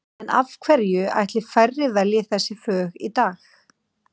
En af hverju ætli færri velji þessi fög í dag?